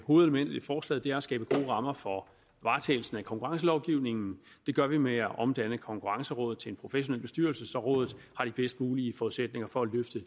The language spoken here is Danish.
hovedelementet i forslaget er at skabe gode rammer for varetagelsen af konkurrencelovgivningen det gør vi ved at omdanne konkurrencerådet til en professionel bestyrelse så rådet har de bedst mulige forudsætninger for at løfte